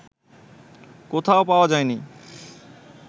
কোথাও পাওয়া যায়নি